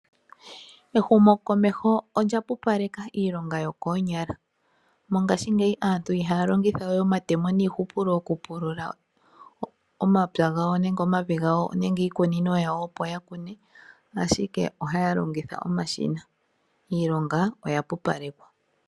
Ehumo komeho olya pupaleka iilonga yo koonyala, mongashingeyi aantu ihaa longitha wee omatemo nii hupulo oku pulula omapya gawo nenge omavi gawo nenge iikunino yawo opo yakune ashike ihaa longitha omashina iilonga oya pupalekwa.